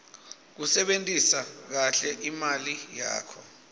kusebentisa kahle imali yakho